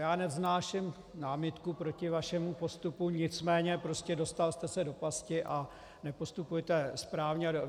Já nevznáším námitku proti vašemu postupu, nicméně prostě dostal jste se do pasti a nepostupujete správně.